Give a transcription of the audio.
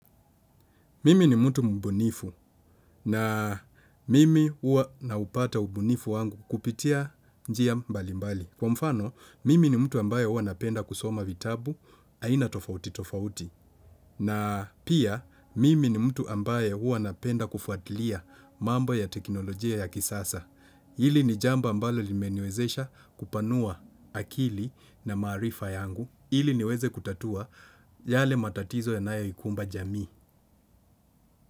Mimi ni mtu mbunifu na mimi ua naupata ubunifu wangu kupitia njia mbali mbali. Kwa mfano, mimi ni mtu ambaye ua napenda kusoma vitabu, aina tofauti tofauti. Na pia mimi ni mtu ambaye ua napenda kufuatilia mambo ya teknolojia ya kisasa Ili ni jambo ambalo limeniwezesha kupanua akili na maarifa yangu Ili niweze kutatua yale matatizo yanayoikumba jamii.